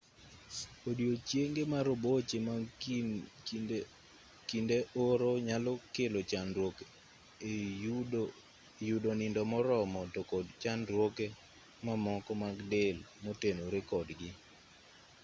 odiechienge maroboche mag kinde oro nyalo kelo chandruok e yudo nindo moromo to kod chandruoge mamoko mag del motenore kodgi